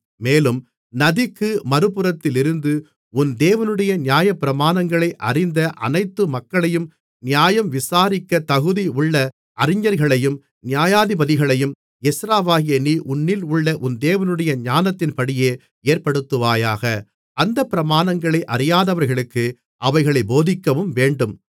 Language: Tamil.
மேலும் நதிக்கு மறுபுறத்திலிருந்து உன் தேவனுடைய நியாயப்பிரமாணங்களை அறிந்த அனைத்து மக்களையும் நியாயம் விசாரிக்கத் தகுதியுள்ள அறிஞர்களையும் நியாயாதிபதிகளையும் எஸ்றாவாகிய நீ உன்னிலுள்ள உன் தேவனுடைய ஞானத்தின்படியே ஏற்படுத்துவாயாக அந்தப் பிரமாணங்களை அறியாதவர்களுக்கு அவைகளைப் போதிக்கவும் வேண்டும்